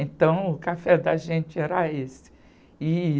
Então, o café da gente era esse. E...